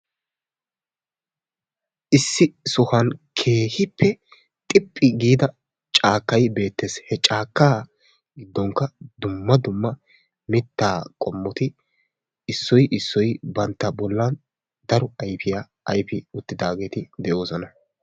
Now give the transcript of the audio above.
issi sohuwan keehippe xiphi giida caakkay beettees. he cakkaa giddonkka dumma dumma mitta qommoti issoy issoy bantta bollan daro ayfiyaa ayfi uttidaageeti de'oosona.